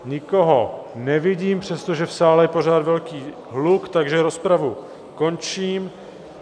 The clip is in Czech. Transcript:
Nikoho nevidím, přestože v sále je pořád velký hluk, takže rozpravu končím.